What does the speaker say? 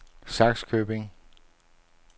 Sakskøbing